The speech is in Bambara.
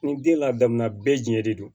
Ni den ladamu na bɛɛ jɛ de don